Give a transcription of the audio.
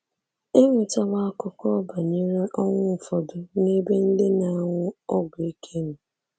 E nwetawo akụkọ banyere ọnwụ ụfọdụ n'ebe ndị na-anwụ ọgwụ ike nọ.